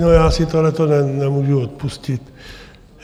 No já si tohleto nemůžu odpustit.